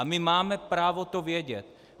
A my máme právo to vědět.